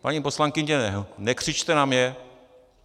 Paní poslankyně, nekřičte na mě.